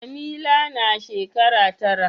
Jamila na shekara tara.